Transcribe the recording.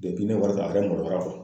ne wari sara a yɛrɛ maloya